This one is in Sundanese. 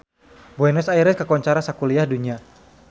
Buenos Aires kakoncara sakuliah dunya